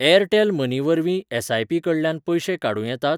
Airtel money वरवीं SIP कडल्यान पयशें काडूं येतात?